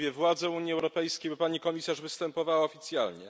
Mówię władze Unii Europejskiej, bo Pani Komisarz występowała tu oficjalnie.